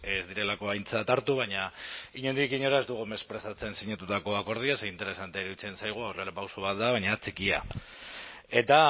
ez direlako aintzat hartu baina inondik inora ez dugu mespretxatzen sinatutako akordioa ze interesantea iruditzen zaigu aurrerapauso bat da baina txikia eta